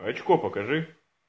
рачко покажи